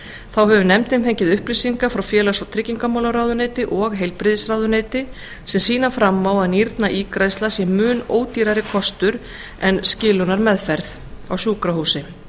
þá hefur nefndin fengið upplýsingar frá félags og tryggingamálaráðuneyti og heilbrigðisráðuneyti sem sýna fram á að nýrnaígræðsla sé mun ódýrari kostur en skilunarmeðferð á sjúkrahúsi